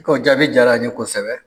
I k'o jaabi diyara n ye kosɛbɛ.